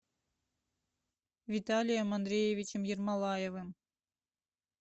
виталием андреевичем ермолаевым